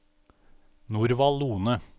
Norvald Lohne